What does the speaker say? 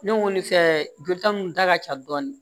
Ne kɔni fɛ jolita mun ta ka ca dɔɔni